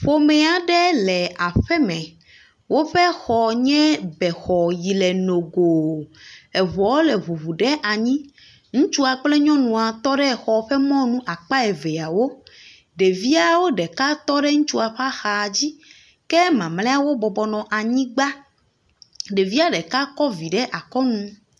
Ƒome aɖe le aƒeme. Woƒe xɔ nye bexɔ yile nogo. Eŋɔ le ŋuŋu ɖe anyi. Ŋutsua kple nyɔnua tɔ ɖe xɔ ƒe mɔnu akpa evea wo. Ɖeviawo ɖeka tɔ ɖe ŋutsua ƒe axa dzi ke mamleawo bɔbɔnɔ anyigba. Ɖevia ɖeka kɔ vi ɖe akɔnu